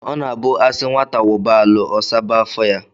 O na-abu a si nwata wuba alu, osaba afọ ya.